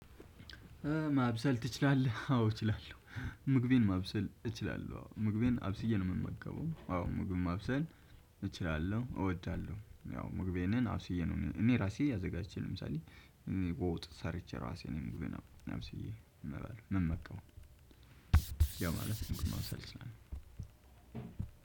ማብሰል ትችላለህ? አዎ እችላለሁ። ምግቤን ማብሰል እችላለሁ። ምግቤን አብስዬ ነው የምመገበው። አዎ ምግብ ማብሰል እችላለሁ፣ እወዳለሁ። ያው ምግቤን አውስዬ ነው እኔ ራሴ አዘጋጅቼ ለምሳሌ በወጥ ሰርቼ ራሴ ነው አብስዬ ምበላው ምመገበው። ያ ማለት ምግብ ማብሰል እችላለሁ።